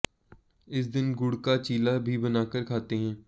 इस दिन गुड़ का चीला भी बनाकर खाते हैं